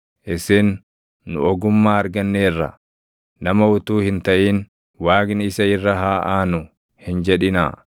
Isin, ‘Nu ogummaa arganneerra; nama utuu hin taʼin, Waaqni isa irra haa aanu’ hin jedhinaa.